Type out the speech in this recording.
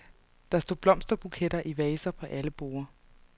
Der stod blomsterbuketter i vaser på alle borde.